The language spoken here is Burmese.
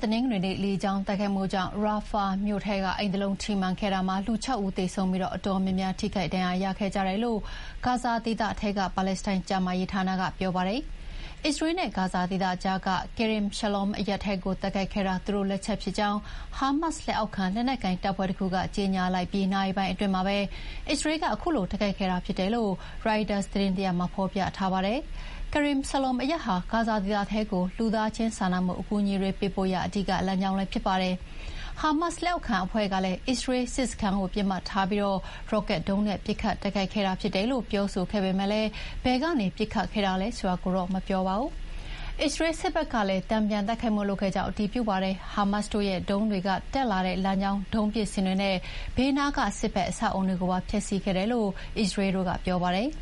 တနင်္ဂနွေနေ့ လေကြောင်းတိုက်ခိုက်မှုကြောင့် ရာဖာမြို့ထဲက အိမ်တလုံးထိမှန်ခဲ့တာမှာ လူ ၆ ဦးသေဆုံးပြီး အတော်များများ ထိခိုက်ဒဏ်ရာရခဲ့ကြတယ်လို့ ဂါဇာဒေသထဲက ပါလက်စတိုင်းကျန်းမာရေးဌာနက ပြောပါတယ်။ အစ္စရေးလ်နဲ့ဂါဇာဒေသကြားက Kerem Shalom အရပ်ထဲကို တိုက်ခိုက်ခဲ့တာ သူတို့လက်ချက်ဖြစ်ကြောင်း ဟာမတ်စ်လက်အောက်ခံ လက်နက်ကိုင်တပ်ဖွဲ့တခုက ကြေညာလိုက်ပြီးနာရီပိုင်းအတွင်းမှာပဲ အစ္စရေးလ်က ခုလိုတိုက်ခိုက်ခဲ့တာဖြစ်တယ်လို့ ရိုက်တာသတင်းတရပ်မှာ ဖော်ပြထားပါတယ်။ Kerem Shalom အရပ်ဟာ ဂါဇာဒေသထဲကို လူသားချင်းစာနာမှုအကူအညီတွေ ပေးပို့ရာ အဓိကလမ်းကြောင်းဖြစ်ပါတယ်။ ဟာမတ်စ်လက်အောက်ခံအဖွဲ့ကလည်း အစ္စရေးလ်စစ်စခန်းပစ်မှတ်ထားပြီး ရော့ကက်ဒုံးနဲ့ ပစ်ခတ်တိုက်ခိုက်ခဲ့တာဖြစ်တယ်လို့ ပြောဆိုခဲ့ပေမဲ့ ဘယ်ကနေပစ်ခတ်ခဲ့တာလဲဆိုတာကိုတော့ မပြောပါဘူး။ အစ္စရေလ်းစစ်ဘက်ကလည်း တန်ပြန်တိုက်ခိုက်မှုလုပ်ခဲ့ကြောင်း အတည်ပြုပါတယ်။ ဟာမတ်စ်တို့ရဲ့ ဒုံးတွေတက်လာတဲ့လမ်းကြောင်း၊ ဒုံးပစ်စင်တွေနဲ့ ဘေးနားက စစ်ဘက်အဆောက်အအုံတွေကိုပါ ဖျက်ဆီးခဲ့တယ်လို့လည်း အစ္စရေးလ်တို့က ပြောပါတယ်